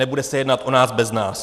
Nebude se jednat o nás, bez nás.